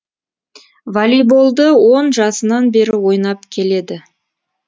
волейболды он жасынан бері ойнап келеді